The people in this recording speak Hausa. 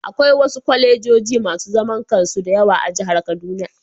Akwai wasu kwalejoji masu zaman kansu da yawa a jihar kaduna